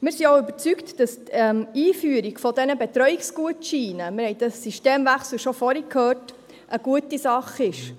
Wir sind auch überzeugt, dass die Einführung dieser Betreuungsgutscheine – wir haben vorhin bereits über den Systemwechsel gesprochen – eine gute Sache ist.